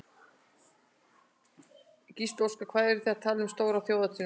Gísli Óskarsson: Hvað eruð þið að tala um stóra þjóðhátíð núna?